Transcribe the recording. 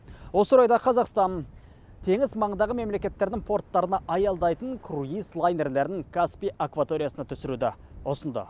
осы орайда қазақстан теңіз маңындағы мемлекеттердің порттарына аялдайтын круиз лайнерлерін каспий акваториясына түсіруді ұсынды